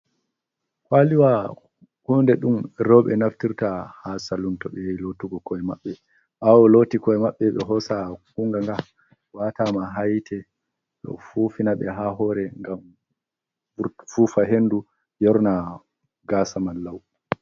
Kwaliwa hunde ɗum roɓe naftirta ha salun, to ɓe yahi lotugo koe maɓɓe, ɓawo loti koe maɓɓe ɓe hosa kunganga nga watama ha hite nɗe fufina ɓe ha hore ngam fufa hendu yorna gasa majum.